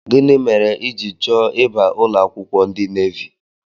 Gịnị mere ijiri chọọ ịba ụlọakwụkwọ ndị navi?